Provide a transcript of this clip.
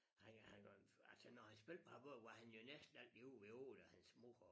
Nej han var altså når han spillede på Harboøre var han jo næsten altid ude ved Ole og hans mor og